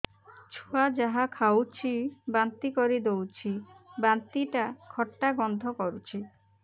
ଛୁଆ ଯାହା ଖାଉଛି ବାନ୍ତି କରିଦଉଛି ବାନ୍ତି ଟା ଖଟା ଗନ୍ଧ କରୁଛି